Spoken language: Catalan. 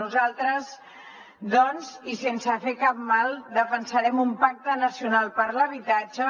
nosaltres doncs i sense fer cap mal defensarem un pacte nacional per l’habitatge